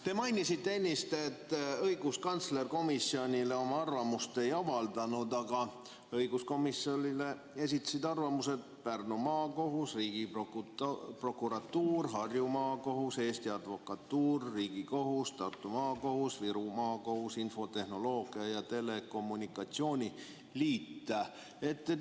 Te mainisite ennist, et õiguskantsler komisjonile oma arvamust ei avaldanud, aga õiguskomisjonile esitasid arvamuse Pärnu Maakohus, Riigiprokuratuur, Harju Maakohus, Eesti Advokatuur, Riigikohus, Tartu Maakohus, Viru Maakohus, Eesti Infotehnoloogia ja Telekommunikatsiooni Liit.